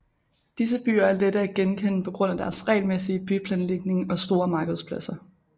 Disse byer er lette at genkende på grund af deres regelmæssige byplanlægning og store markedspladser